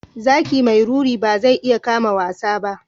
Zaki mai ruri ba zai iya kama wasa ba.